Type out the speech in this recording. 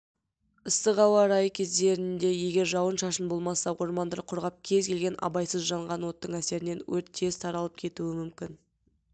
ыстық ауа райы кездерінде егер жауын-шашын болмаса ормандар құрғап кез келген абайсыз жанған оттың әсерінен өрт тез таралып кетуі мүмкін